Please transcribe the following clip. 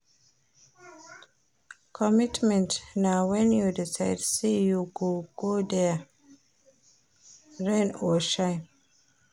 Commitment na wen you decide sey you go dey there, rain or shine.